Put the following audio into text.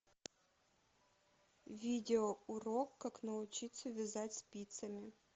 видеоурок как научиться вязать спицами